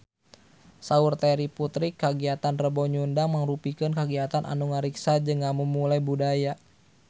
Saur Terry Putri kagiatan Rebo Nyunda mangrupikeun kagiatan anu ngariksa jeung ngamumule budaya Sunda